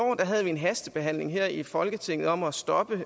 havde vi en hastebehandling her i folketinget om at stoppe